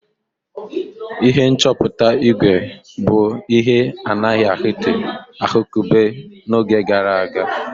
Ihe nchọpụta ígwè bụ ihe a na-adịghị ahụkebe n'oge gara aga.